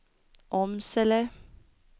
Åmsele